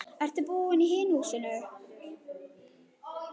Ertu búinn í hinu húsinu?